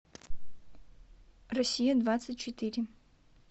россия двадцать четыре